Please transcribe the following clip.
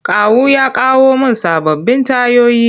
Kawu ya kawo mun sababbin tayoyi.